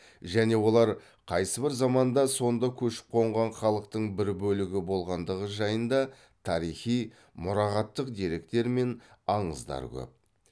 және олар қайсібір заманда сонда көшіп қонған халықтың бір бөлігі болғандығы жайында тарихи мұрағаттық деректер мен аңыздар көп